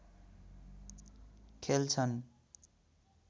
खेल्छन्